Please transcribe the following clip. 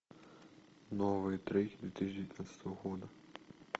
новые треки две тысячи девятнадцатого года